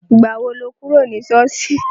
Ìgbà wo lo kúrò ní ṣọ́ọ̀ṣì?